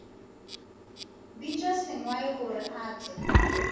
bitša sengwai gore a tle